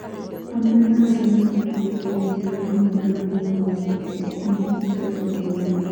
Amwe a arĩa mekinyĩtie igooti-inĩ nĩ hamwe na Nyina wa Stacy Akinyi, Josephine Olundo